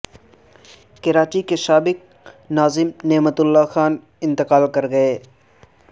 کراچی کے سابق ناظم نعمت اللہ خان انتقال کرگئے